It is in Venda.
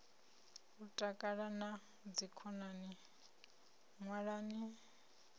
u takala na dzikhonani ṅwalani